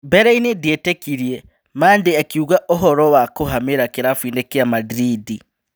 Mbereinĩ ndietĩkirie", Mandĩ akiuga ũhoro wa kũhamira kĩrabuinĩ kĩa Madrindi.